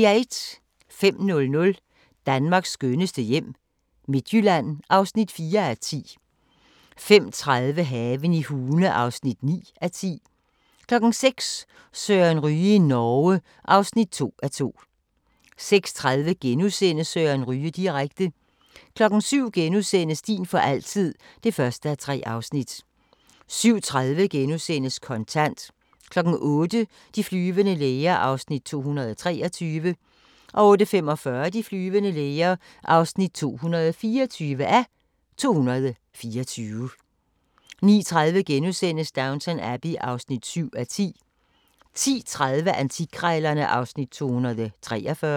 05:00: Danmarks skønneste hjem - Midtjylland (4:10) 05:30: Haven i Hune (9:10) 06:00: Søren Ryge i Norge (2:2) 06:30: Søren Ryge direkte * 07:00: Din for altid (1:3)* 07:30: Kontant * 08:00: De flyvende læger (223:224) 08:45: De flyvende læger (224:224) 09:30: Downton Abbey (7:10)* 10:30: Antikkrejlerne (Afs. 243)